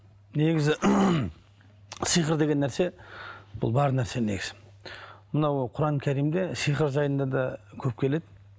негізі сиқыр деген нәрсе бұл бар нәрсе негізі мынау құран кәрімде сиқыр жайында да көп келеді